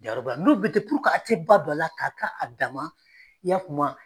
n'u bɛ ten a tɛ ba don a la k'a k'a a dama i y'a famu wa.